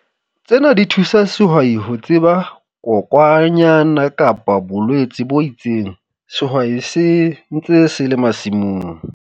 Tsena di thusa sehwai ho tseba kokwanyana kapa bolwetse bo itseng sehwai se ntse se le masimong.